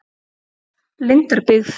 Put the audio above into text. Lindarbyggð